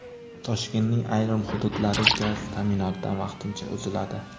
Toshkentning ayrim hududlari gaz ta’minotidan vaqtincha uziladi.